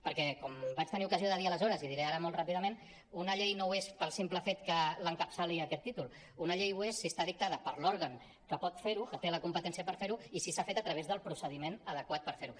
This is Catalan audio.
perquè com vaig tenir ocasió de dir aleshores i diré ara molt ràpidament una llei no ho és pel simple fet que l’encapçali aquest títol una llei ho és si està dictada per l’òrgan que pot fer ho que té la competència per fer ho i si s’ha fet a través del procediment adequat per fer ho